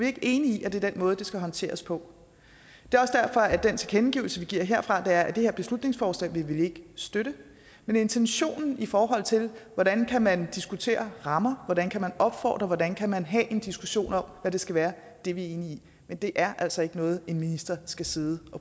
ikke enige i at det er den måde det skal håndteres på det er også derfor at den tilkendegivelse vi giver herfra er at det her beslutningsforslag vil vi ikke støtte men intentionen i forhold til hvordan man kan diskutere rammer hvordan man kan opfordre hvordan man kan have en diskussion om hvad det skal være er vi enige i men det er altså ikke noget en minister skal sidde